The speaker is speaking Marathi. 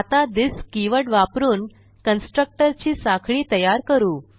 आता थिस कीवर्ड वापरून कन्स्ट्रक्टर ची साखळी तयार करू